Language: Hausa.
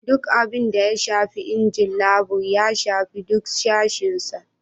Duk abin da ya shafi injin labur, ya shafi duk sashen sa.